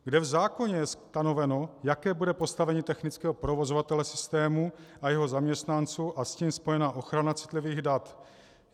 Kde v zákoně je stanoveno, jaké bude postavení technického provozovatele systému a jeho zaměstnanců a s tím spojená ochrana citlivých dat?